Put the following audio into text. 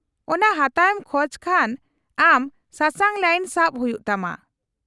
-ᱚᱱᱟ ᱦᱟᱛᱟᱣ ᱮᱢ ᱠᱷᱚᱡ ᱠᱷᱟᱱ ᱟᱢ ᱥᱟᱥᱟᱝ ᱞᱟᱭᱤᱱ ᱥᱟᱵ ᱦᱩᱭᱩᱜ ᱛᱟᱢᱟ ᱾